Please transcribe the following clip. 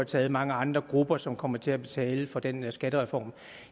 taget mange andre grupper som kommer til at betale for den her skattereform